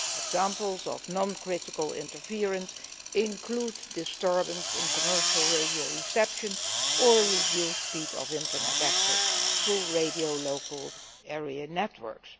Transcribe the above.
Examples of non critical interference include disturbance in commercial radio reception or reduced speed of internet access through radio local area networks.